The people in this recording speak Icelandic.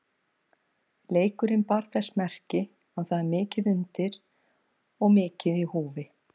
Leikurinn bar þess merki að það er mikið undir og mikið í húfi.